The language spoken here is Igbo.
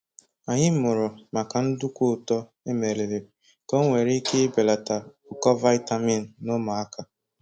Anyị mụrụ maka nduku ụtọ emeliri ka onwere ike belata ụkọ vaịtamini na ụmụaka